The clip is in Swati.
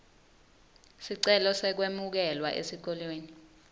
sicelo sekwemukelwa esikolweni